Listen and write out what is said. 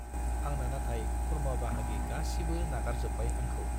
आंना नाथाय खुरमा-बाहागि गासिबो नागारजोब्बाय आंखौ।